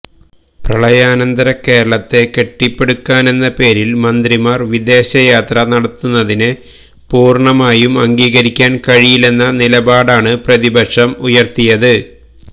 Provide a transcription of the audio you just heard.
പ്രളയാനന്തര കേരളത്തെ കെട്ടിപ്പടുക്കാനെന്ന പേരില് മന്ത്രിമാര് വിദേശ യാത്ര നടത്തുന്നതിനെ പൂര്ണമായും അംഗീകരിക്കാന് കഴിയില്ലന്ന നിലപാടാണ് പ്രതിപക്ഷം ഉയര്ത്തിയത്